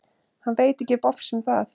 Hann veit ekki bofs um það.